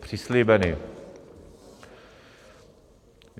přislíbeny.